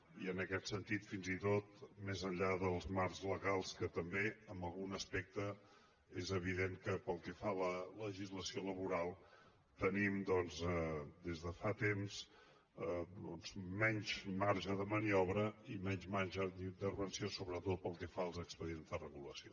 i en aquest sentit fins i tot més enllà dels marcs legals que també en algun aspecte és evident que pel que fa a la legislació laboral tenim des de fa temps menys marge de maniobra i menys marge d’intervenció sobretot pel que fa als expedients de regulació